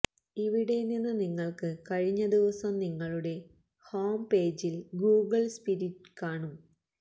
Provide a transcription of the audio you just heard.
ഇവിടെ നിന്ന് നിങ്ങൾക്ക് കഴിഞ്ഞ ദിവസം നിങ്ങളുടെ ഹോംപേജിൽ ഗൂഗിൾ സ്പിരിറ്റ് കാണും